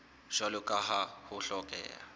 jwalo ka ha ho hlokeha